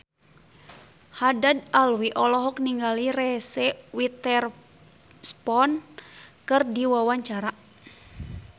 Haddad Alwi olohok ningali Reese Witherspoon keur diwawancara